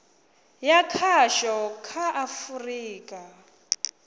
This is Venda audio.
ya khasho kha a afurika